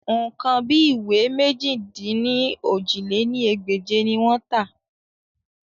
Nǹkan bí ìwé mèjì-dín-ní-ojì lé ní ẹgbẹ́je ni wọ́n tà